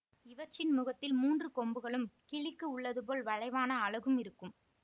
இவற்றின் முகத்தில் மூன்று கொம்புகளும் கிளிக்கு உள்ளதுபோல் வளைவான அலகும் இருக்கும்